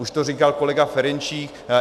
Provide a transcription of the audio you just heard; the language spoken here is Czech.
Už to říkal kolega Ferjenčík.